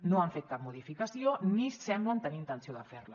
no han fet cap modificació ni semblen tenir intenció de fer la